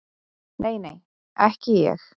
Nei, nei, ekki ég.